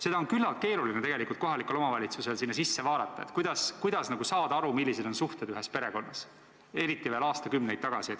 Tegelikult on kohalikul omavalitsusel küllaltki keeruline sinna sisse vaadata ja saada aru, millised on olnud suhted ühes perekonnas, eriti veel aastakümneid tagasi.